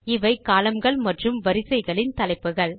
இவை columnகள் மற்றும் வரிகளின் தலைப்புகள்